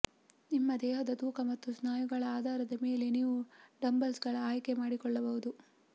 ನಿಮ್ಮ ದೇಹದ ತೂಕ ಮತ್ತು ಸ್ನಾಯುಗಳ ಆಧಾರದ ಮೇಲೆ ನೀವು ಡಂಬಲ್ಸ್ಗಳ ಆಯ್ಕೆ ಮಾಡಿಕೊಳ್ಳಬಹುದು